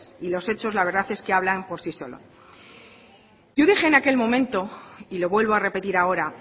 y los hechos la verdad es que hablan por sí solo yo dije en aquel momento y lo vuelvo a repetir ahora